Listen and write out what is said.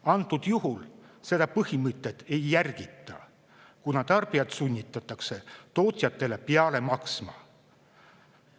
Antud juhul seda põhimõtet ei järgita, kuna tarbijat sunnitakse tootjatele peale maksma.